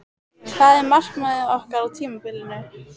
Hvað er markmiðið okkar á tímabilinu?